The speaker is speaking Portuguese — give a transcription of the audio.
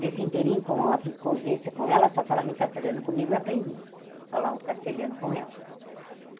Nesse inteirinho, com a vi convivência com ela, só falava em castelhano comigo e aprendi a falar o castelhano com ela.